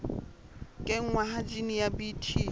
kenngwa ha jine ya bt